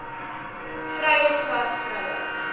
vrye swart vroue